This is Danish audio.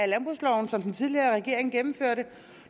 landbrugsloven som den tidligere regering gennemførte